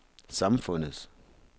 samfundets